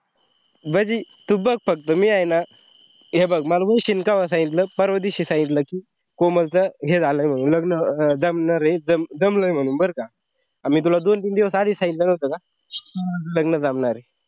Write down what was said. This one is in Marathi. मंजे तू बग फक्त मी आहे न हे बग मला वैशिनी कावा सांगितलं पर्वा दिवशी सांगितलं कि कोमल च हे झालाय म्हणून लग्न जमणारे जमलाय म्हणून बरका अन मी तुले दोन तीन दिवस आधीच सांगितलं नव्हता का लग्न जमणारे.